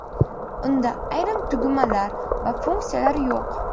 Unda ayrim tugmalar va funksiyalar yo‘q.